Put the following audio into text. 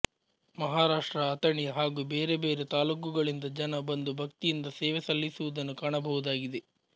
ಮಹಾರಾಷ್ಟ್ರ ಅಥಣಿ ಹಾಗೂ ಬೇರೆ ಬೇರೆ ತಾಲೂಕುಗಳಿಂದ ಜನ ಬಂದು ಭಕ್ತಿಯಿಂದ ಸೇವೆ ಸಲ್ಲಿಸುವುದನ್ನು ಕಾಣಬಹುದಾಗಿದೆ